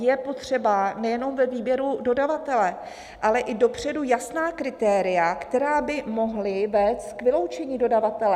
Je potřeba nejenom ve výběru dodavatele, ale i dopředu jasná kritéria, která by mohla vést k vyloučení dodavatele.